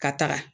Ka taga